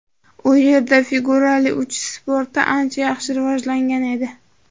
U yerda figurali uchish sporti ancha yaxshi rivojlangan edi.